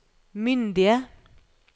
myndige